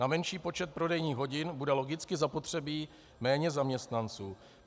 Na menší počet prodejních hodin bude logicky zapotřebí méně zaměstnanců.